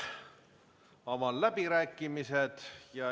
Avan läbirääkimised.